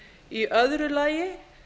í öðru lagi